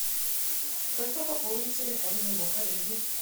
просьба пополнить телефон моего коллеги